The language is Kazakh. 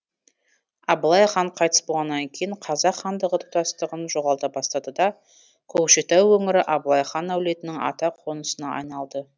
абылай хан қайтыс болғаннан кейін қазақ хандығы тұтастығын жоғалта бастады да көкшетау өңірі абылай хан әулетінің ата қонысына айналды